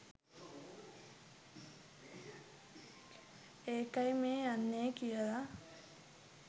ඒකයි මේ යන්නේ කියලා